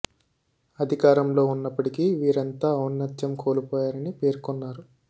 అధికారంలో ఉన్నప్పటికీ వీరంతా ఔన్నత్యం కోల్పోయారని పేర్కొన్నారు